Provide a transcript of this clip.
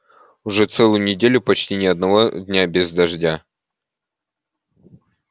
уже целую неделю почти ни одного дня без дождя